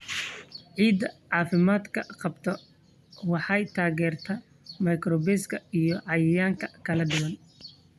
Ciidda caafimaadka qabta waxay taageertaa microbes iyo cayayaan kala duwan.